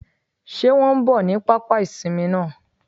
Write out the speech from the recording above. Sé wọn n bò ní pápá ìsinmi náà